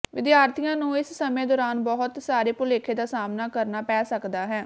ਵਿਦਿਆਰਥੀਆਂ ਨੂੰ ਇਸ ਸਮੇਂ ਦੌਰਾਨ ਬਹੁਤ ਸਾਰੇ ਭੁਲੇਖੇ ਦਾ ਸਾਹਮਣਾ ਕਰਨਾ ਪੈ ਸਕਦਾ ਹੈ